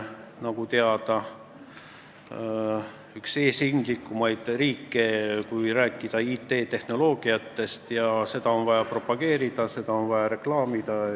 Nagu teada, on Eesti üks eesrindlikumaid riike, kui IT-tehnoloogiatest rääkida, ja seda on vaja propageerida, seda on vaja reklaamida.